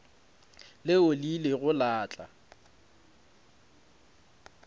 leo le ilego la tla